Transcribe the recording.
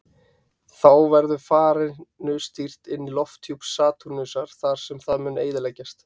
Þá verður farinu stýrt inn í lofthjúp Satúrnusar þar sem það mun eyðileggjast.